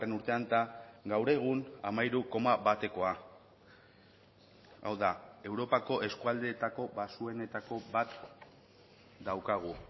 urtean eta gaur egun hamairu koma batekoa hau da europako eskualdeetako baxuenetako bat daukagu